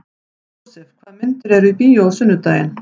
Jósef, hvaða myndir eru í bíó á sunnudaginn?